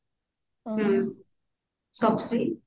ହୁଁ shopsy